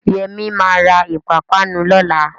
Yẹmí ma ra ìpápánu lọ́la